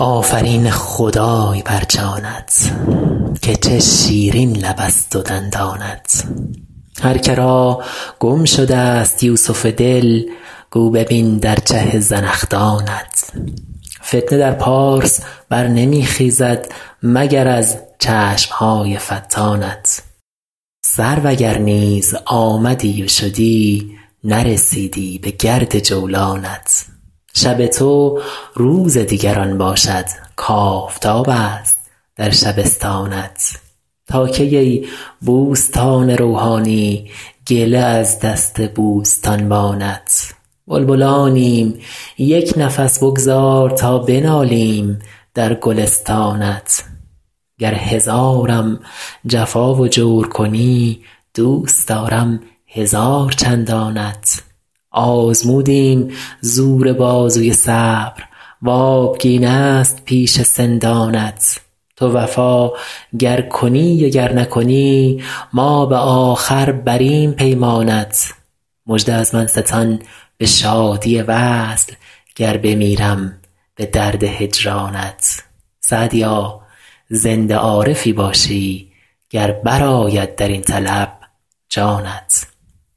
آفرین خدای بر جانت که چه شیرین لبست و دندانت هر که را گم شدست یوسف دل گو ببین در چه زنخدانت فتنه در پارس بر نمی خیزد مگر از چشم های فتانت سرو اگر نیز آمدی و شدی نرسیدی بگرد جولانت شب تو روز دیگران باشد کآفتابست در شبستانت تا کی ای بوستان روحانی گله از دست بوستانبانت بلبلانیم یک نفس بگذار تا بنالیم در گلستانت گر هزارم جفا و جور کنی دوست دارم هزار چندانت آزمودیم زور بازوی صبر و آبگینست پیش سندانت تو وفا گر کنی و گر نکنی ما به آخر بریم پیمانت مژده از من ستان به شادی وصل گر بمیرم به درد هجرانت سعدیا زنده عارفی باشی گر برآید در این طلب جانت